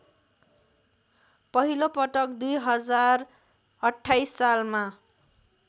पहिलोपटक २०२८ सालमा